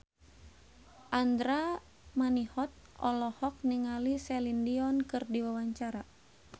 Andra Manihot olohok ningali Celine Dion keur diwawancara